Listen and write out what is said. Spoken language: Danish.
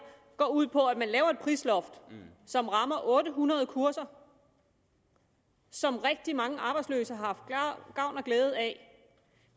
går ud på at man laver et prisloft som rammer otte hundrede kurser som rigtig mange arbejdsløse har haft gavn og glæde af